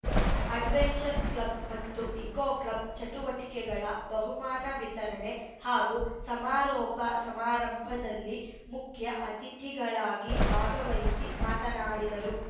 adventures club ಮತ್ತು eco club ಚಟುವಟಿಕೆಗಳ ಬಹುಮಾನ ವಿತರಣೆ ಹಾಗೂ ಸಮಾರೋಪ ಸಮಾರಂಭದಲ್ಲಿ ಮುಖ್ಯ ಅತಿಥಿಗಳಾಗಿ ಭಾಗವಹಿಸಿ ಮಾತನಾಡಿದರು